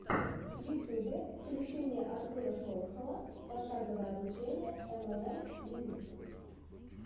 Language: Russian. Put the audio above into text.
в ютьюбе включи мне артура шолохова пошаговое обучение млм бизнесу